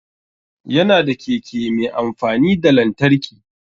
Ya na da keke mai amfani da lantarki